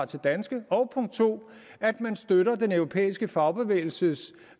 til danske og punkt to støtter den europæiske fagbevægelses